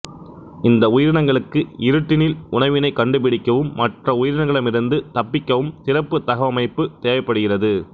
இந்த உயிரினங்களுக்கு இருட்டினில் உணவினைக் கண்டுபிடிக்கவும் மற்ற உயிரினங்களிடமிருந்து தப்பிக்கவும் சிறப்புத் தகவமைப்பு தேவைப்படுகிறது